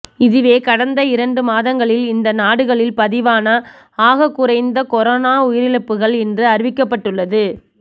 இதுவே கடந்த இரண்டு மாதங்களில் இந்த நாடுகளில் பதிவான ஆகக்குறைந்த கொரோனா உயிரிழப்புக்கள் என்று அறிவிக்கப்பட்டுள்ளது